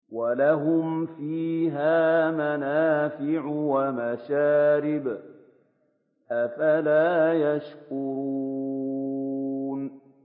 وَلَهُمْ فِيهَا مَنَافِعُ وَمَشَارِبُ ۖ أَفَلَا يَشْكُرُونَ